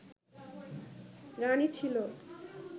রাণী ছিল